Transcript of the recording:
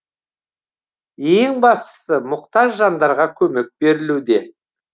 ең бастысы мұқтаж жандарға көмек берілуде